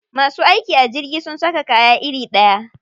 Masu aiki a jirgi sun saka kaya iri ɗaya?